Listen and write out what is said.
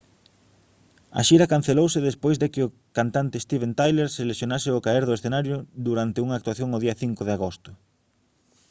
a xira cancelouse despois de que o cantante steven tyler se lesionase ao caer do escenario durante unha actuación o día 5 de agosto